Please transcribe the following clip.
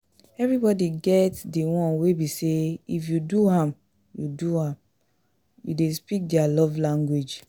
Everybody get di one wey be say if you do am you do am you de speak their love language